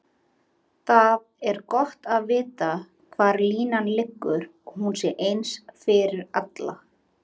Það er gott að vita hvar línan liggur og hún sé eins fyrir alla.